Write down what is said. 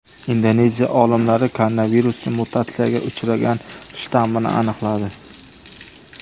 Indoneziya olimlari koronavirusning mutatsiyaga uchragan shtammini aniqladi.